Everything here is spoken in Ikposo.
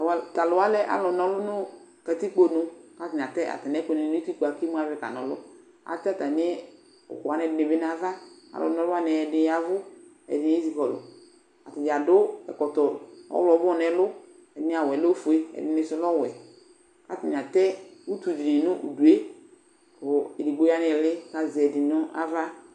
Tʋ alʋ lɛ alʋ na ɔlʋ nʋ katikponu kʋ atanɩ atɛ atamɩ ɛkʋnɩ nʋ utikpǝ kʋ imuavɛ kana ɔlʋ Atɛ atamɩ ɛkʋ wanɩ ɛdɩ bɩ nʋ ava Alʋna ɔlʋ wanɩ ɛdɩnɩ ya ɛvʋ, ɛdɩnɩ ezikɔlʋ Atanɩ adʋ ɛkɔtɔ ɔɣlɔmɔ nʋ ɛlʋ Ɛdɩnɩ awʋ yɛ lɛ ofue, ɛdɩnɩ sʋ lɛ ɔwɛ kʋ atanɩ atɛ utu dɩnɩ nʋ udu yɛ kʋ edigbo ya nʋ ɩɩlɩ kʋ azɛ ɛdɩ nʋ ava